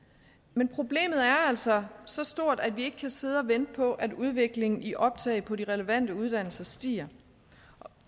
men problemet er altså så stort at vi ikke kan sidde og vente på at udviklingen i optaget på de relevante uddannelser stiger